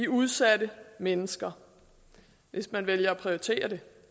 udsatte mennesker hvis man vælger at prioritere det